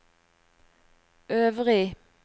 øvrig